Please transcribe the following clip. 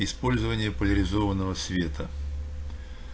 использование поляризованного света